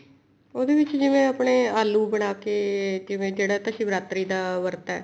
ਉਹਦੇ ਵਿੱਚ ਜਿਵੇਂ ਆਪਣੇ ਆਲੂ ਬਣਾ ਜਿਹੜਾ ਤਾਂ ਸ਼ਿਵਰਾਤਰੀ ਦਾ ਵਰਤ ਹੈ